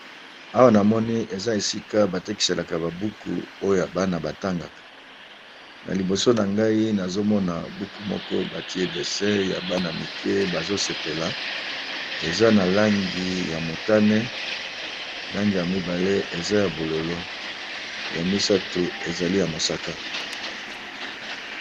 Awa namoni eza esika batekisaka ba buku oyo bana batangaka